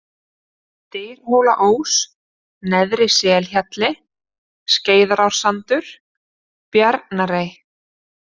Dyrhólaós, Neðri-Selhjalli, Skeiðarársandur, Bjarnarey